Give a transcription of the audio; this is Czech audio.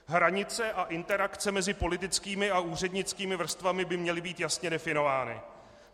Hranice a interakce mezi politickými a úřednickými vrstvami by měly být jasně definovány.